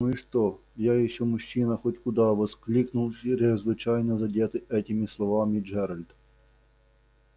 ну и что я ещё мужчина хоть куда воскликнул чрезвычайно задетый этими словами джералд